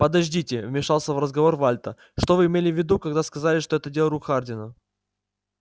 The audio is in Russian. подождите вмешался в разговор вальто что вы имели в виду когда сказали что это дело рук хардина